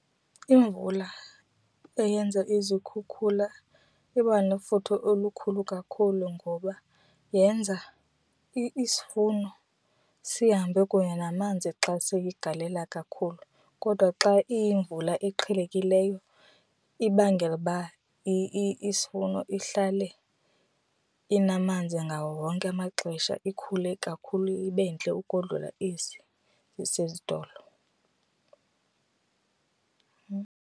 Imvula eyenza izikhukhula iba nefuthe olukhulu kakhulu ngoba yenza isivuno sihambe kunye namanzi xa seyigalela kakhulu kodwa xa iyimvula eqhelekileyo ibangela uba isivuno ihlale inamanzi ngawo wonke amaxesha. Ikhule kakhulu ibe ntle ukodlula esi sasezitolo.